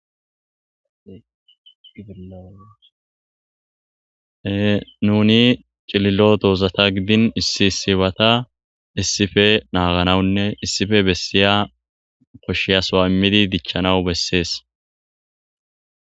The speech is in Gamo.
ee nuni cililo dozata giddin issi issibata issippe naganawu nnev issippe bessiya koshshiya sowuwa immidi dichchanawu besses.